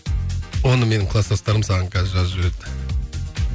оны менің кластастарым саған қазір жазып жібереді